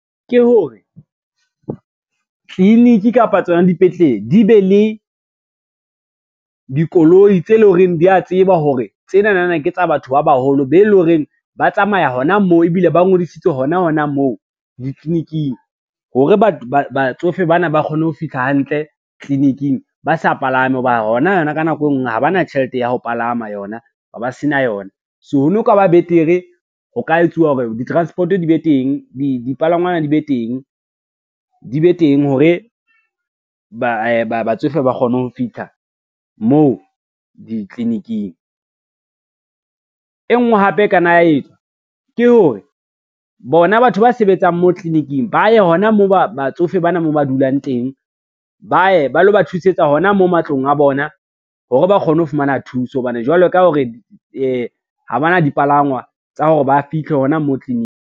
Ke hore, tliliniki kapa tsona dipetlele di be le dikoloi tse leng lo reng di a tseba hore tsenana ke tsa batho ba baholo be lo reng ba tsamaya hona moo, ebile ba ngodisitswe hona hona moo ditliliniking. Hore batsofe bana ba kgone ho fihla hantle tliliniking ba sa palame ho ba yona yona ka nako e ngwe ha ba na tjhelete ya ho palama yona, ba se na yona. So ho no ka ba betere ho ka etsuwa hore dipalangwana di be teng, di be teng hore batsofe ba kgone ho fitlha moo ditliliniking. E ngwe hape e ka nna ya etswa ke hore, bona batho ba sebetsang moo tliliniking ba ye hona moo batsofe bana moo ba dulang teng, ba ye ba lo ba thusetsa hona mo matlong a bona hore ba kgone ho fumana thuso hobane jwalo ka ha re ha bana dipalangwa tsa hore ba fihle hona moo tliniki.